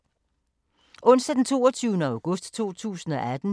Onsdag d. 22. august 2018